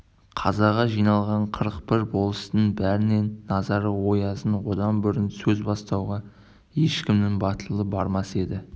қазаға жиналған қырық бір болыстың бәрінін назары оязда одан бұрын сөз бастауға ешкімнің батылы бармас енді